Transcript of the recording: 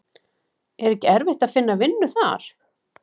Er ekki erfitt að finna vinnu þar?